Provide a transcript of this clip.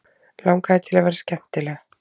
Langaði til að vera skemmtileg.